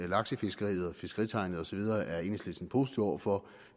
laksefiskeriet og fiskeritegnet osv er enhedslisten positiv over for